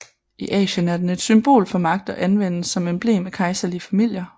I Asien er den et symbol for magt og anvendes som emblem af kejserlige familier